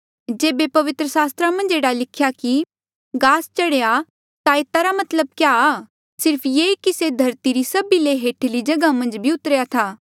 जेबे पवित्र सास्त्रा मन्झ एह्ड़ा लिख्या कि गास चढ़ेया ता एता रा क्या मतलब आ सिर्फ ये कि से धरती री सभी ले हेठली जगहा मन्झ भी उतरेया था